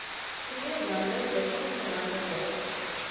krugerrande wissels verhandelbare